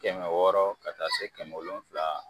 Kɛmɛ wɔɔrɔ ka taa se kɛmɛ wolonwula